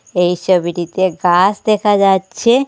এই ছবিটিতে গাস দেখা যাচ্ছে।